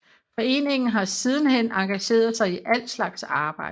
Forenningen har siden hen engageret sig i al slag arbejde